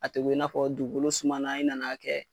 A tɛ ko i n'a fɔ dugukolo sumana in nan'a kɛ